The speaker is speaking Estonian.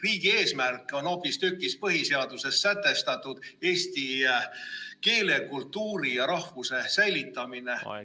Riigi eesmärk on hoopistükkis põhiseaduses sätestatud eesti keele, kultuuri ja rahvuse säilitamine.